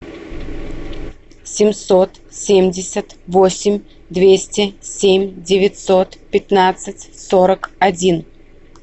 семьсот семьдесят восемь двести семь девятьсот пятнадцать сорок один